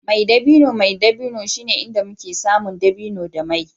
mai dabino mai dabino shine inda muke samun dabino da mai